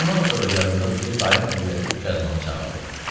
Ondan sonra yadımdadır ki, dayım övrəti Tükyazbanı çağırdı.